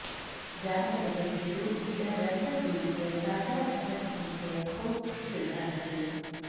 ಜಾನಪದ ವೈದ್ಯರು ಗಿಡ ರಕ್ತಹೀನತೆಯ ತಾಜಾ ರಸ ಚಿಕಿತ್ಸೆಯ ಕೋರ್ಸ್ ಶಿಫಾರಸು